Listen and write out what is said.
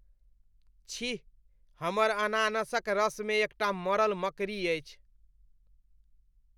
छी! हमर अनानासक रसमे एकटा मरल मकड़ी अछि।